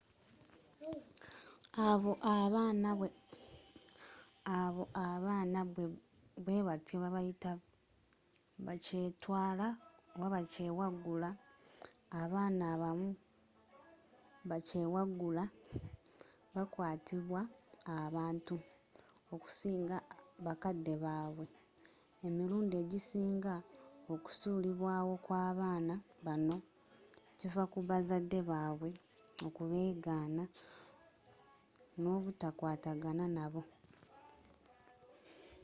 abo abaana bwe batyo babayita bakyetwala” oba bakyewaggula. abaana abamu bakyewaggula bakwatiddwa abantu okusinga bakadde baabwe; emirundi egisinga okusuulibwawo kw'abaana bano kiva ku bazadde baabwe kubeegana n’obutakwatagana nabo